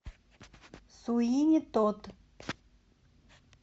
суини тод